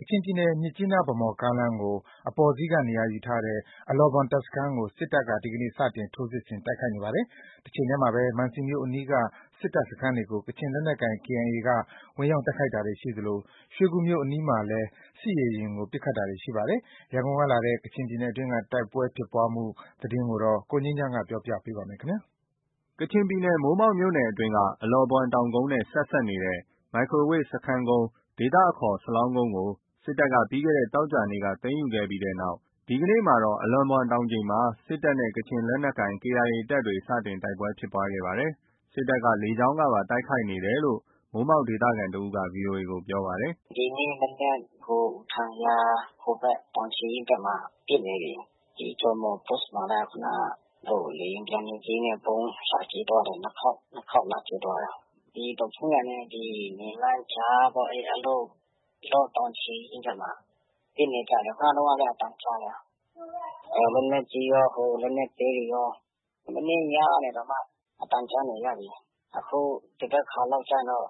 ကချင်ပြည်နယ် မြစ်ကြီးနား ဗန်းမော်ကားလမ်းကို အပေါ်စီးက နေရာယူထားတဲ့ အလော့ဘွမ် တပ်စခန်းကို စစ်တပ်က ဒီကနေ့ စတင် ထိုးစစ်ဆင် တိုက်ခိုက်နေပါတယ်။ တချိန်တည်းမှာပဲ မံစီမြို့အနီးက စစ်တပ်စခန်းတွေကို ကချင်လက်နက်ကိုင် KIA က ဝင်ရောက် တိုက်ခိုက်တာတွေ ရှိသလို ရွှေကူမြို့အနီးမှာလည်း စစ်ရေယာဉ်ကို ပစ်ခတ်တာတွေ ရှိနေပါတယ်။ ရန်ကုန်ကလာတဲ့ ကချင်ပြည်နယ်တွင်းက တိုက်ပွဲဖြစ်ပွားမှုသတင်း ရန်ကုန်ဘက်ကသတင်းပေးပို့တာကို ကိုငြိမ်းချမ်းက တင်ပြထားပါတယ်။ ကချင်ပြည်နယ် မိုးမောက်မြို့နယ်အတွင်းက အလော့ဘွမ်တောင်ကုန်းနဲ့ ဆက်စပ်နေတဲ့ မိုက်ခရိုဝေ့စခန်းကုန်း ကို စစ်တပ်က ပြီးခဲ့တဲ့သောကြာနေ့က သိမ်းယူပြီးတဲ့နောက် ဒီကနေ့မှာတော့ အလော့ဘွမ်တောင်ခြေမှာ စစ်တပ်နဲ့ ကချင်လက်နက်ကိုင် KIA တပ်တွေ စတင်တိုက်ပွဲဖြစ်ခဲ့ပါတယ်။ စစ်တပ်က လေကြောင်းကပါ တိုက်ခိုက်နေတယ်လို့ မိုးမောက်ဒေသခံ တစ်ဦးက ဗွီအိုအေကို ပြောပါတယ်။ “ဒီနေ့ မနက် ထန်ယန်ဟိုဘက် တောင်ခြေရင်းဘက်မှာ ပစ်နေပြီ။ ဂျောမော်ပို့စ်မှာလည်း ခုနက လေယာဉ်ပျံ နှစ်စီးနဲ့ ဗုံးလာကြဲသွားတယ်။ နှစ်ခေါက်။ နှစ်ခေါက်လာကြဲသွားတယ်။ ဒီဒေါ့ဖုန်းယန်နဲ့ နွမ်းလန်းကြားပေါ့ အလော့ တောင်ခြေရင်းဘက်မှာ ပစ်နေကြတယ်။ ခုနတုန်းကလည်း အသံကြားတယ်။ လက်နက်ကြီးရော၊ လက်နက်သေးတွေရော၊ မနေ့ညကနေတောင်မှ အသံကြားနေရပြီ။ အခု သဘက်ခါလောက်ကျရင်တော့